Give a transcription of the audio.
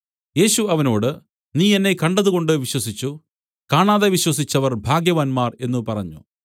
യേശു അവനോട് നീ എന്നെ കണ്ടതുകൊണ്ട് വിശ്വസിച്ചു കാണാതെ വിശ്വസിച്ചവർ ഭാഗ്യവാന്മാർ എന്നു പറഞ്ഞു